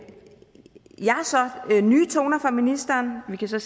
så nye toner fra ministeren vi kan så